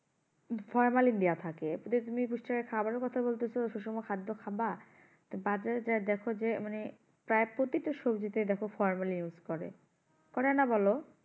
formalin দেওয়া থাকে তাতে তুমি পুষ্টিকর খাবারের কথা বলতেসো সুষম খাদ্য খাবা তা বাজারে গিয়ে দেখো যে মানে প্রায় প্রতিটা সবজিতে দেখো formalin use করে করে না বলো